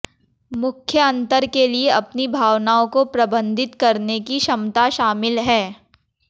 मुख्य अंतर के लिए अपनी भावनाओं को प्रबंधित करने की क्षमता शामिल है